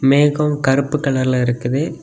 மேகம் கருப்பு கலர்ல இருக்குது.